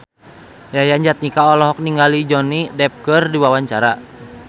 Yayan Jatnika olohok ningali Johnny Depp keur diwawancara